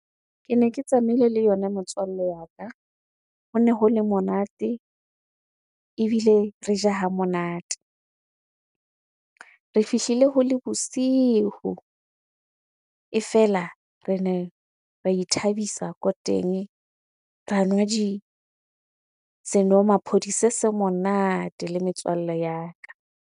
Kene ke tsamaile le yona motswalle wa ka. Hone ho le monate ebile re ja ha monate. Re fihlile ho le bosiu, e fela rene re ithabisa ko teng, ra nwa di senomaphodi se se monate le metswalle ya ka.